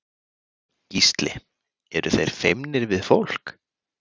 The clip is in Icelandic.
Gísli: Eru þeir feimnir við fólk?